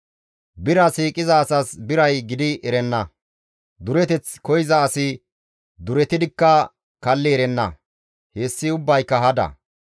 Bira siiqiza asas biray gidi erenna; dureteth koyza asi duretidikka kalli erenna; hessi ubbayka hada.